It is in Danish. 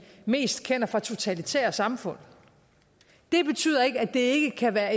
mest kender fra totalitære samfund det betyder ikke at det ikke kan være